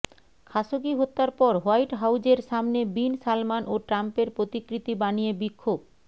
Khashoggi হত্যার পর white হাউজের সামনে বিন সালমান ও ট্রাম্পের প্রতিকৃতি বানিয়ে বিক্ষোভ